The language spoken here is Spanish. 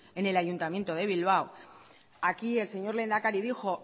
en el ayuntamiento de bilbao aquí el señor lehendakari dijo